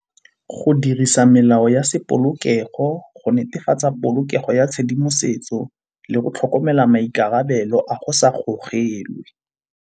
Go dirisa melao ya se polokego, go netefatsa polokego ya tshedimosetso le go tlhokomela maikarabelo a go sa gogelwe.